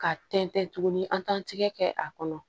Ka tɛntɛn tuguni an t'an tigɛ kɛ a kɔnɔ